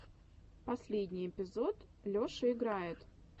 последний эпизод леша играет